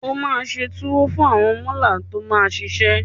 Wà á se tuwo fún àwọn mọ́là tó máa ṣiṣẹ́.